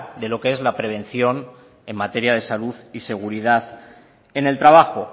de lo que es la prevención en materia de salud y seguridad en el trabajo